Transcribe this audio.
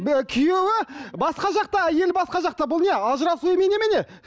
күйеуі басқа жақта әйелі басқа жақта бұл не ажырасу емей немене